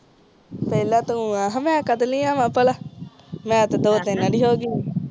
ਪਹਿਲਾ ਤੂੰ ਆ ਮਈ ਕਦੇ ਲਾਇ ਆਵਾ ਭਲਾ ਮੈਂ ਤੇ ਦੋ ਟੀਨ ਵਾਰੀ ਹੋਗੀ ਆ